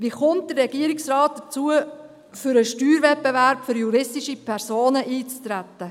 Wie kommt der Regierungsrat dazu, für den Steuerwettbewerb für juristische Personen einzutreten?